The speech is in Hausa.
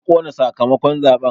An ƙona sakamakon zaɓen